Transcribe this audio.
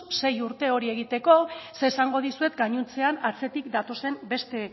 sei urte hori egiteko zer esango dizuet gainontzean atzetik datozen beste